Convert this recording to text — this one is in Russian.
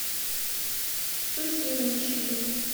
сухиничи